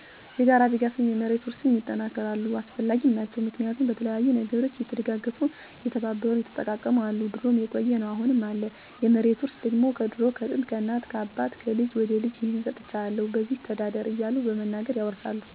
የጋራ ድጋፍም፣ የመሬት ውርስም ይጠናከራሉ አሰፈላጊም ናቸው። ምክንያቱም በተለያዩ ነገሮች እየተደጋገፉ፣ እየተባበሩ፣ እየተጠቃቀሙ አሉ ድሮም የቆየ ነው አሁንም አለ። የመሬት ውርስ ደግሞ ከድሮ ከጥንት፣ ከእናት ከአባት፣ ከልጅ ወደ ልጅ ይህን ሰጥቸሀለሁ በዚች ተዳደር እያሉ በመናገር ያወርሳሉ። በዘመናዊ መንገድ ደግሞ ዘመኑ በዋጀው በወረቀት በተለያዩ ማሰረጃዎች ወጣቱ እንዲለምድ እና እንዲማር እየተደረገ ነው።